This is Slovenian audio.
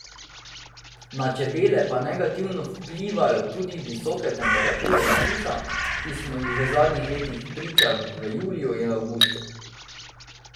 Na čebele pa negativno vplivajo tudi visoke temperature in suša, ki smo jim v zadnjih letih priča v juliju in avgustu.